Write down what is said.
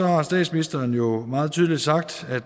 har statsministeren jo meget tydeligt sagt